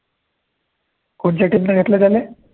कोणच्या team नं घेतला त्याले